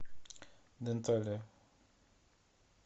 денталия